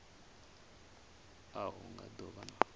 a hu nga do vha